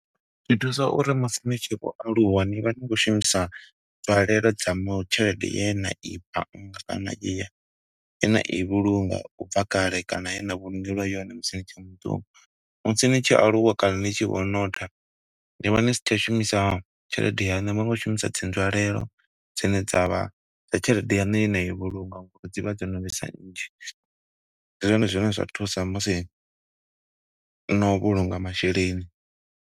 Zwi thusa uri musi ni tshi khou aluwa, ni vha ni khou shumisa bvalelwa dza mu tshelede ye na i bannga kana eya, ye na i vhulunga u bva kale kana ye na vhulungeliwa yone musi ni tshe muṱuku. Musi ni tshi aluwa kana ni tshi vho , ni vha ni sa tsha shumisa tshelede yanu, ni vha ni khou shumisa dzi nzwalelo dzine dza vha dza tshelede yanu ye na i vhulunga, ngo uri dzi vha dzo no vhesa nnzhi. Ndi zwone zwine zwa thusa musi no vhulunga masheleni.